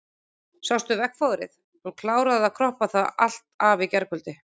Sástu veggfóðrið, hún kláraði að kroppa það allt af í gærkvöld.